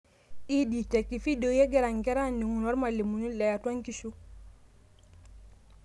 Ed Tech: ifidioi egira nkera aning'uno ormalimuni leatua nkishu.